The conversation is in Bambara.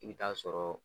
I bɛ taa sɔrɔ